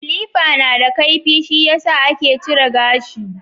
kilifa nada kaifi shiyasa take cire gashi